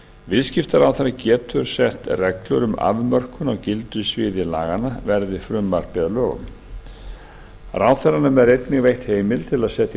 viðskiptaráðherra getur sett reglur um afmörkun á gildissviði laganna verði frumvarpið að lögum ráðherranum er einnig veitt heimild til að setja